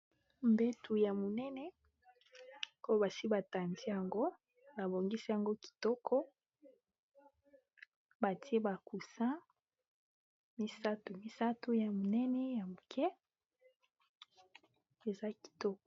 Mbetu ya monene oyo esi batandi yango babongisi yango kitoko batie ba coussin misatu misatu ya monene ya moke eza kitoko.